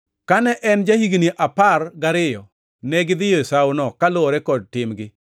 Kane en ja-higni apar gariyo, negidhiyo e Sawono kaluwore kod timgi.